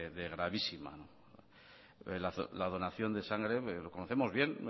de gravísima la donación de sangre que lo conocemos bien